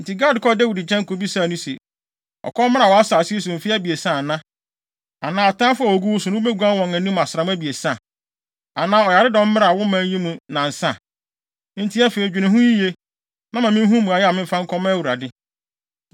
Enti Gad kɔɔ Dawid nkyɛn kobisaa no se, “Ɔkɔm mmra wʼasase yi so mfe abiɛsa ana? Anaa, atamfo a wogu wo so no wubeguan wɔn asram abiɛsa? Anaa, ɔyaredɔm mmra wo man yi mu nnansa? Enti afei, dwene ho yiye, na ma minhu mmuae a memfa nkɔma Awurade.”